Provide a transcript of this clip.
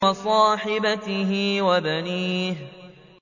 وَصَاحِبَتِهِ وَبَنِيهِ